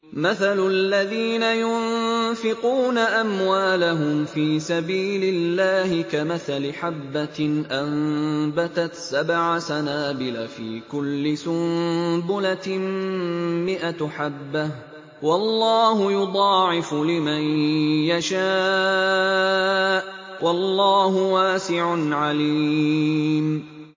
مَّثَلُ الَّذِينَ يُنفِقُونَ أَمْوَالَهُمْ فِي سَبِيلِ اللَّهِ كَمَثَلِ حَبَّةٍ أَنبَتَتْ سَبْعَ سَنَابِلَ فِي كُلِّ سُنبُلَةٍ مِّائَةُ حَبَّةٍ ۗ وَاللَّهُ يُضَاعِفُ لِمَن يَشَاءُ ۗ وَاللَّهُ وَاسِعٌ عَلِيمٌ